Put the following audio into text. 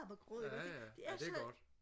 ja ja ja det er godt